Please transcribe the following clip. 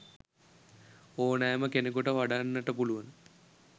ඕනෑම කෙනෙකුට වඩන්නට පුලුවන.